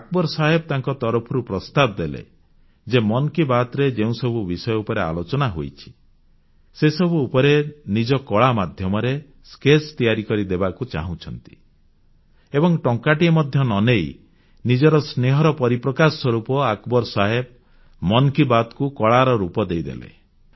ଆକବର ସାହେବ୍ ତାଙ୍କ ତରଫରୁ ପ୍ରସ୍ତାବ ଦେଲେ ଯେ ମନ୍ କି ବାତ୍ ରେ ଯେଉଁସବୁ ବିଷୟ ଉପରେ ଆଲୋଚନା ହୋଇଛି ସେସବୁ ଉପରେ ସେ ନିଜ କଳା ମାଧ୍ୟମରେ ସ୍କେଚ ସ୍କେଚ୍ ତିଆରି କରି ଦେବାକୁ ଚାହୁଁଛନ୍ତି ଏବଂ ଟଙ୍କାଟିଏ ମଧ୍ୟ ନ ନେଇ ନିଜର ସ୍ନେହର ପରିପ୍ରକାଶ ସ୍ୱରୂପ ଆକବର ସାହେବ ମନ୍ କି ବାତ୍ କୁ କଳାର ରୂପ ଦେଇଦେଲେ